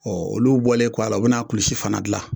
Ɔ olu bɔlen kɔ a la u bɛna a kulusi fana dilan